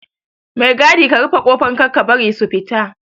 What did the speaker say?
Mai gadi ka rufe kofar Kar ka bari su fita